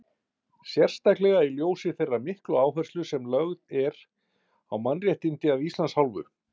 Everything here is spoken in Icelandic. Sérstaklega í ljósi þeirra miklu áherslu sem að lögð er á mannréttindi af Íslands hálfu?